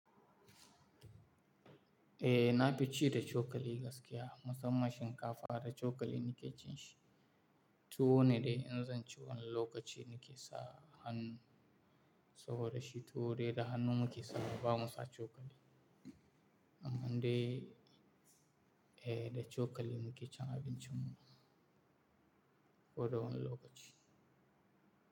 Eh na fi ci da cokali gaskiya musamman shinkafa da cokali nike cin shi. Tuwo ne dai in zan ci wani lokaci nike sa hannu saboda shi tuwo dai da hannu muke sakawa bamu sa cokali. Amma dai eh da cokali nike cin abinci muna ko da wani lokaci.